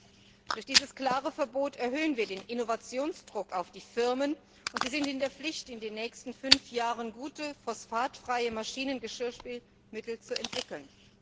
an. Durch dieses klare Verbot erhöhen wir den Innovationsdruck auf die Firmen, und sie sind in der Pflicht, in den nächsten fünf Jahren gute, phosphatfreie Maschinengeschirrspülmittel zu entwickeln.